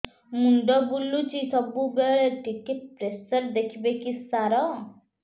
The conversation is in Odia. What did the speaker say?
ମୁଣ୍ଡ ବୁଲୁଚି ସବୁବେଳେ ଟିକେ ପ୍ରେସର ଦେଖିବେ କି ସାର